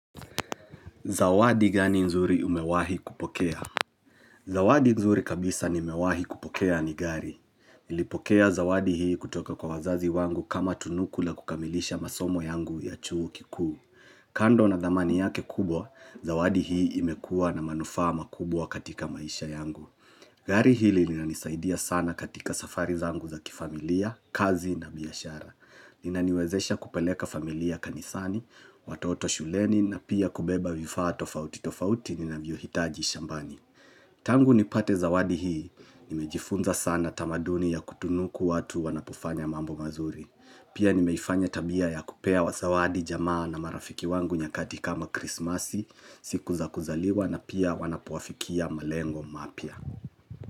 Zawadi gani nzuri umewahi kupokea? Zawadi nzuri kabisa nimewahi kupokea ni gari. niIlipokea zawadi hii kutoka kwa wazazi wangu kama tunuku la kukamilisha masomo yangu ya chuo kikuu. Kando na thamani yake kubwa, zawadi hii imekua na manufaa makubwa katika maisha yangu. Gari hili linanisaidia sana katika safari zangu za kifamilia, kazi na biashara. Inaniwezesha kupeleka familia kanisani, watoto shuleni na pia kubeba vifaa tofauti tofauti ninavyohitaji shambani Tangu nipate zawadi hii, nimejifunza sana tamaduni ya kutunuku watu wanapofanya mambo mazuri Pia nimeifanya tabia ya kupea wa zawadi jamaa na marafiki wangu nyakati kama krismasi, siku za kuzaliwa na pia wanapoafikia malengo mapya.